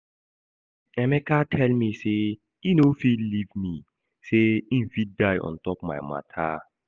Emeka tell me say e no fit leave me, say im fit die on top my matter